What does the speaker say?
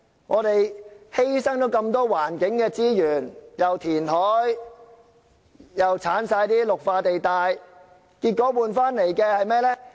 我們犧牲了那麼多環境資源，既填海又刪去綠化地帶，結果換來的是甚麼？